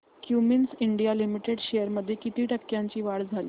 Cummins India limited shares मध्ये किती टक्क्यांची वाढ झाली